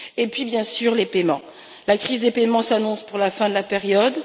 Et puis, bien sûr, il y a les paiements la crise des paiements s'annonce pour la fin de la période.